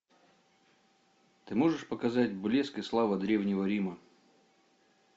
ты можешь показать блеск и слава древнего рима